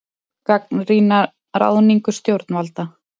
Gagnrýna ráðningu stjórnvalda